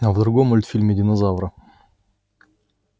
а в другом мультфильме динозавра